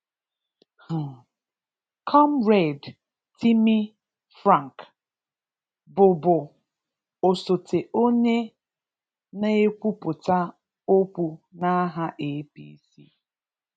um Comrade Timi Frank, bụbụ osote onye na-ekwupụta okwu n’aha APC